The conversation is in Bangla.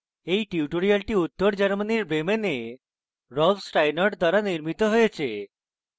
এই টিউটোরিয়ালটি উত্তর germany bremen rolf steinort দ্বারা নির্মিত হয়েছে